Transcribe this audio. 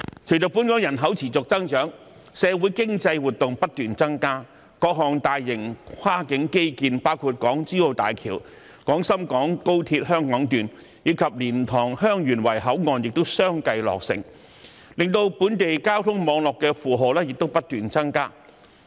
隨着本港人口持續增長，社會經濟活動不斷增加，各項大型跨境基建，包括港珠澳大橋、廣深港高鐵香港段，以及蓮塘/香園圍口岸亦相繼落成，令本地交通網絡負荷不斷增加。